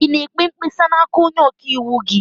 Ị na-ekpe mkpesa n'aka onye ọka iwu gị?